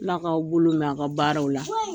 Ala k'aw bolo mɛn aw ka baaraw la.